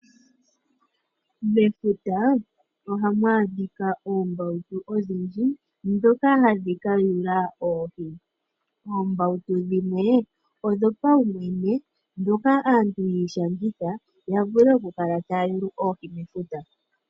Mefuta, ohamu adhika oombautu odhindji ndhoka hadhi ka yula oohi. Oombautu dhimwe, odho paumwene, ndhoka aantu ya ishangitha ya vule oku kala taya yulu oohi mefuta.